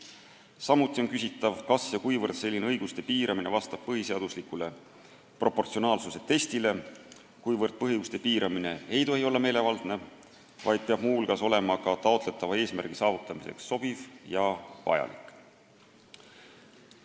Samuti on küsitav, kas selline õiguste piiramine vastab põhiseadusliku proportsionaalsuse testi nõuetele – põhiõiguste piiramine ei tohi olla meelevaldne, vaid peab muu hulgas olema ka taotletava eesmärgi saavutamiseks sobiv ja vajalik.